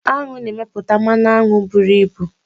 Aṅụ na-emepụta mmanụ aṅụ buru ibu.